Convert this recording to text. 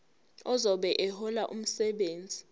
ozobe ehlola umsebenzi